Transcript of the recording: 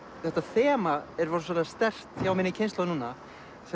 þetta þema er rosalega sterkt hjá minni kynslóð núna